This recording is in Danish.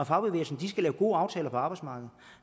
fagbevægelsen skal lave gode aftaler på arbejdsmarkedet